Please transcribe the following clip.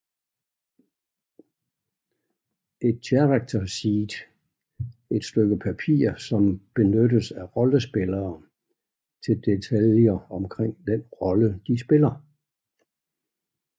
Et character sheet et stykke papir som benyttes af rollespillere til detaljer omkring den rolle de spiller